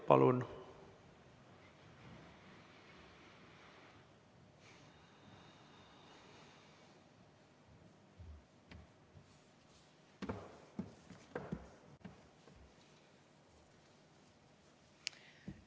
Palun!